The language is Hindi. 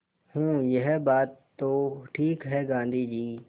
हूँ यह बात तो ठीक है गाँधी जी